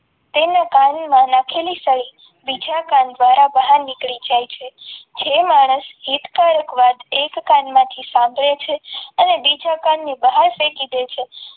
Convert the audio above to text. તેના કાનમાં નાખેલી સળી બીજા કાન દ્વારા બહાર નીકળી જાય છે જે માણસ એક વાત એક કાનમાંથી સાંભળે છે અને બીજા કાનની બહાર ફેંકી દે છે.